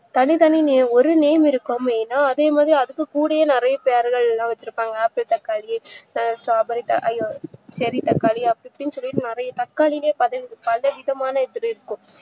தனித்தனியே ஒர இருக்கும் அதேமாறியே அதுக்குகூடயே நறைய காய்கள்ல வச்சுருக்காங்க நாட்டு தக்காளி ஆ செர்ரி தக்காளி அப்டிஇப்டின்னுசொல்லி தக்களிலையே நறைய பலவிதமான இதுஇருக்கும்